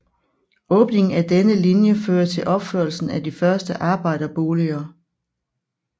Åbningen af denne linje fører til opførelsen af de første arbejderboliger